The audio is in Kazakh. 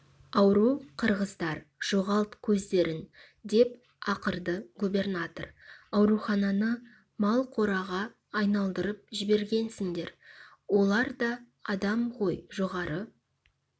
ауру қырғыздар жоғалт көздерін деп ақырды губернатор аурухананы малқораға айналдырып жібергенсіңдер олар да адам ғой жоғары